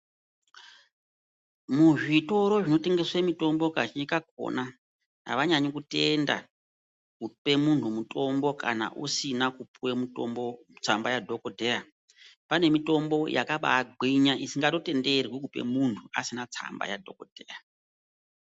Muzvitoro zvinotengese mitombo, Kazhinji kakhona, avanyanyi kutenda kupe muntu mutombo kana usina kupuwe mutombo tsamba yadhokodheya. Pane mitombo yakabagwinya isikatotenderwi kupe muntu asina tsamba yadhokodheya.